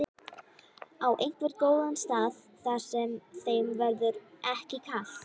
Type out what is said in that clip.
Á einhvern góðan stað þar sem þeim verður ekki kalt.